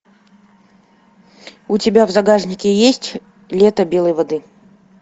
у тебя в загашнике есть лето белой воды